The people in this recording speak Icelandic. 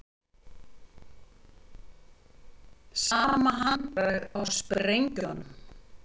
Sama handbragð á sprengjum